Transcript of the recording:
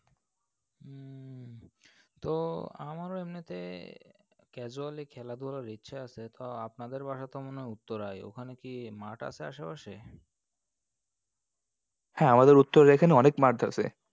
তো আমারও এমনিতে casually খেলাধুলার ইচ্ছে আছে, তো আপনাদের বাসা তো মনে হয় উত্তরায়। ওখানে কি মাঠ আছে আশেপাশে? হ্যাঁ আমাদের উত্তরার এখানে অনেক মাঠ আসে।